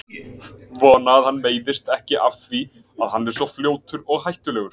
Ég vona að hann meiðist ekki af því að hann er svo fljótur og hættulegur.